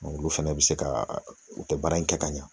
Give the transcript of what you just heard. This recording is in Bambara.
Olu fɛnɛ bɛ se ka u tɛ baara in kɛ ka ɲa